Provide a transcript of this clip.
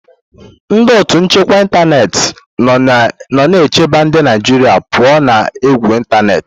Ndị otu nchekwa ịntanetị nọ na-echebe ndị Naijiria pụọ ​​na égwù ịntanetị.